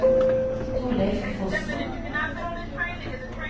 Thorleif Fossen